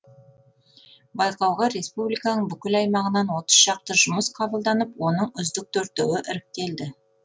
байқауға республиканың бүкіл аймағынан отыз шақты жұмыс қабылданып оның үздік төртеуі іріктелді